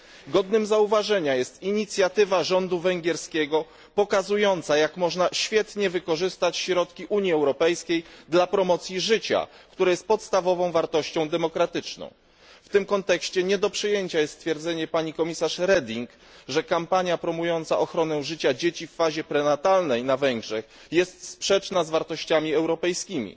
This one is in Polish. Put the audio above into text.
Godna uwagi jest również inicjatywa rządu węgierskiego pokazująca, jak świetnie można wykorzystać środki Unii Europejskiej dla promocji życia, które jest podstawową wartością demokratyczną. W tym kontekście nie do przyjęcia jest stwierdzenia komisarz Reding, że kampania promująca ochronę życia dzieci w fazie prenatalnej na Węgrzech jest sprzeczna z wartościami europejskimi.